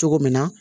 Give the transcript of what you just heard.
Cogo min na